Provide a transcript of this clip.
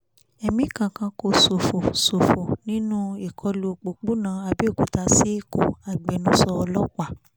ẹ̀mí kankan kò ṣófo ṣófo nínú ìkọlù òpópónà àbẹ̀òkúta sí ẹ̀kọ́ agbẹnusọ ọlọ́pàá